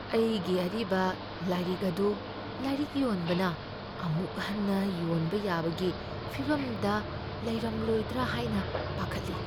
ꯑꯩꯒꯤ ꯑꯔꯤꯕ ꯂꯥꯏꯔꯤꯛ ꯑꯗꯨ ꯂꯥꯏꯔꯤꯛ ꯌꯣꯟꯕꯅ ꯑꯃꯨꯛ ꯍꯟꯅ ꯌꯣꯟꯕ ꯌꯥꯕꯒꯤ ꯐꯤꯚꯝꯗ ꯂꯩꯔꯝꯂꯣꯢꯗ꯭ꯔꯥ ꯍꯥꯏꯅ ꯄꯥꯈꯠꯂꯤ꯫